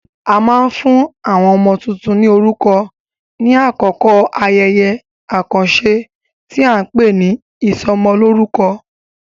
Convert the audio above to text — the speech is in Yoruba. A máa ń fún àwọn ọmọ tuntun ní orúkọ ní àkókò ayẹyẹ àkànṣe tí a ń pè ní ìsọmọlórúkọ.